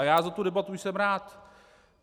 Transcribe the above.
A já za tu debatu jsem rád.